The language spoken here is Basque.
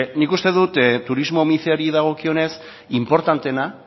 nik uste dut turismo mice horri dagokionez inportanteena